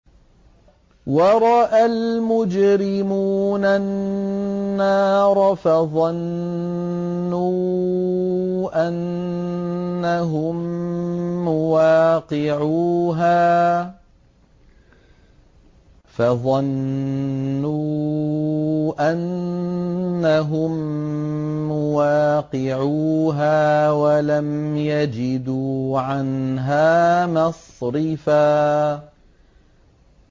وَرَأَى الْمُجْرِمُونَ النَّارَ فَظَنُّوا أَنَّهُم مُّوَاقِعُوهَا وَلَمْ يَجِدُوا عَنْهَا مَصْرِفًا